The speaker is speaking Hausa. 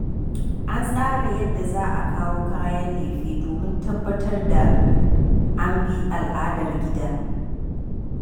An tsara yadda za a kawo kayan lefe domin tabbatar da an bi al'adar gida.